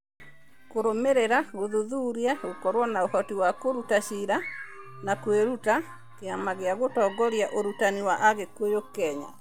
(MEAL) Kũrũmĩrĩra, Gũthuthuria, Gũkorũo na Ũhoti wa Kũruta Ciira, na Kwĩruta, Kĩama gĩa Gũtongoria Ũrutani wa Agĩkũyũ Kenya (NEMIS)